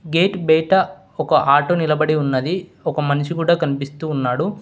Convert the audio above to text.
Gate బయట ఒక auto నిలబడి ఉన్నది ఒక మనిషి కూడా కనిపిస్తూ ఉన్నాడు.